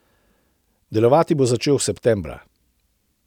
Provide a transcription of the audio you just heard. Delovati bo začel septembra.